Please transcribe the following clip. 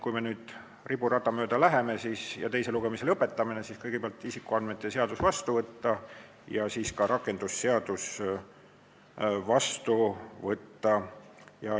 Kui me nüüd riburada mööda läheme ja teise lugemise lõpetame, siis tuleb kõigepealt isikuandmete kaitse seadus vastu võtta ja siis ka rakendusseadus vastu võtta.